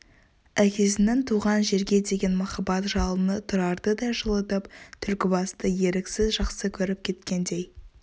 әкесінің туған жерге деген махаббат жалыны тұрарды да жылытып түлкібасты еріксіз жақсы көріп кеткендей